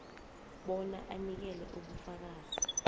bona unikele ubufakazi